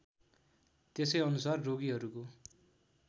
त्यसै अनुसार रोगिहरूको